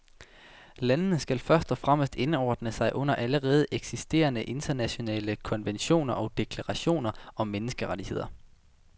Landene skal først og fremmest indordne sig under allerede eksisterende, internationale konventioner og deklarationer om menneskerettigheder.